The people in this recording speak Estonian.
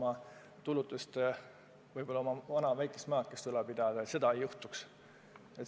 Ei tohi juhtuda, et pensionär ei suuda oma väikesest tulust oma vana maja ülal pidada.